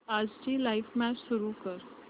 आजची live match सुरू कर